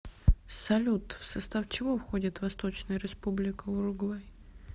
салют в состав чего входит восточная республика уругвай